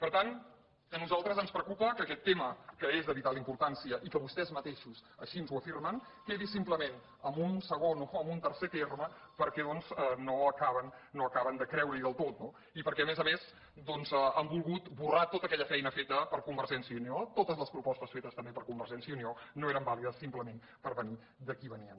per tant a nosaltres ens preocupa que aquest tema que és de vital importància i que vostès mateixos així ho afirmen quedi simplement en un segon o en un tercer terme perquè no acaben de creure hi del tot no i perquè a més a més doncs han volgut esborrar tota aquella feina feta per convergència i unió totes les propostes fetes també per convergència i unió no eren vàlides simplement perquè venien de qui venien